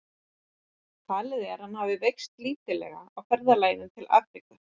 Talið er að hann hafi veikst lítillega í ferðalaginu til Afríku.